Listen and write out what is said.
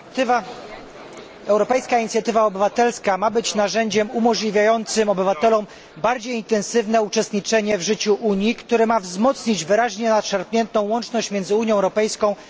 Europejska inicjatywa obywatelska ma być narzędziem umożliwiającym obywatelom bardziej intensywne uczestniczenie w życiu Unii, które ma wzmocnić wyraźnie nadszarpniętą łączność miedzy Unią Europejską a obywatelami.